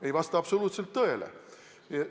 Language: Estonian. Ei vasta absoluutselt tõele!